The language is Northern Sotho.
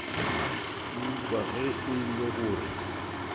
eupša ge e le gore